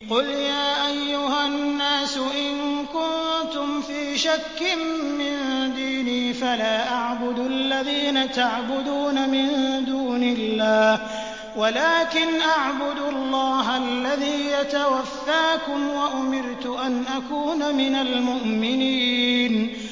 قُلْ يَا أَيُّهَا النَّاسُ إِن كُنتُمْ فِي شَكٍّ مِّن دِينِي فَلَا أَعْبُدُ الَّذِينَ تَعْبُدُونَ مِن دُونِ اللَّهِ وَلَٰكِنْ أَعْبُدُ اللَّهَ الَّذِي يَتَوَفَّاكُمْ ۖ وَأُمِرْتُ أَنْ أَكُونَ مِنَ الْمُؤْمِنِينَ